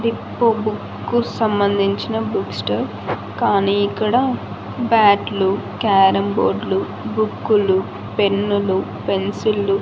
ఎక్కువ బుక్ సంబంధించిన books store . కానీ ఇక్కడ బ్యాట్ లు క్యారం బోర్డ్ లు బుక్కు లు పెన్ను లు పెన్సిల్ లు --